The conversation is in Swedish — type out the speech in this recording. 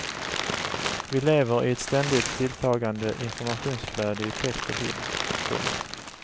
Vi lever i ett ständigt tilltagande informationsflöde i text och bild. punkt